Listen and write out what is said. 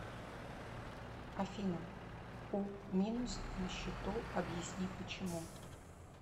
афина у минус на счету объясни почему